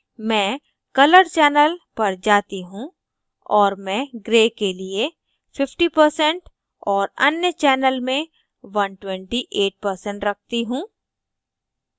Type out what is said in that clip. मैं colour channel पर जाती हूँ और मैं gray के लिए 50% और अन्य channel में 128% रखती हूँ